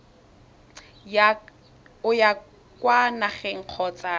o ya kwa nageng kgotsa